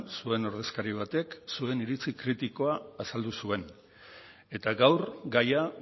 zuen ordezkari batek zuen iritzi kritikoa azaldu zuen eta gaur gaia